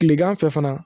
Kilegan fɛ fana